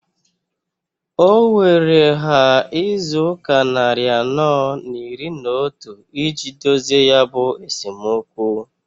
O weere ha izuụka nnarị anọọ n'iri n'otu iji dozie ya bụ esomokwu.